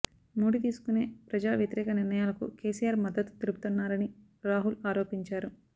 మోడీ తీసుకునే ప్రజా వ్యతిరేక నిర్ణయాలకు కేసీఆర్ మద్దతు తెలుపుతున్నారని రాహుల్ ఆరోపించారు